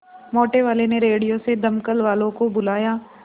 मोटेवाले ने रेडियो से दमकल वालों को बुलाया